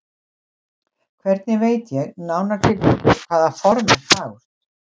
Hvernig veit ég, nánar tiltekið, hvaða form er fagurt?